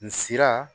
N sira